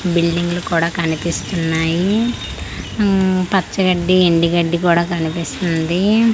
Building లు కూడా కనిపిస్తున్నాయి ఉమ్ పచ్చగడ్డి ఎండు గడ్డి కూడా కనిపిస్తుంది.